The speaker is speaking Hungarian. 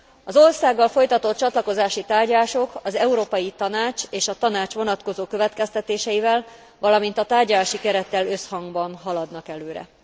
Az országgal folytatott csatlakozási tárgyalások az Európai Tanács és a Tanács vonatkozó következtetéseivel, valamint a tárgyalási kerettel összhangban haladnak előre.